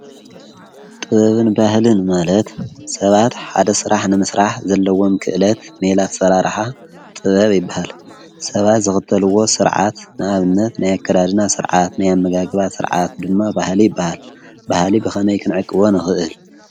ጥበብን ባህልን መለት ሰባት ሓደ ሥራሕ ንምሥራሕ ዘለዎም ክእለት ነላት ሠራ ረኃ ጥበብ ኣይበሃል ሰባት ዘኽተልዎ ሥርዓት ንኣብነት ናያከዳድና ሥርዓት ነያመጋግባት ሥርዓት ድማ ባሃሊ ይበሃል ባሃሊ ብኸመይ ክንዕቅዎን ኽእል።